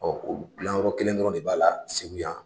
Ɔ o gilan yɔrɔ kelen dɔrɔn de b'a la segu yan